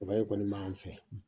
kɔni m'an fɛ